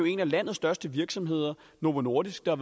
en af landets største virksomheder novo nordisk jo